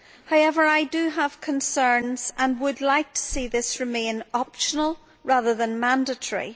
However, I do have concerns and would like to see this remain optional rather than mandatory.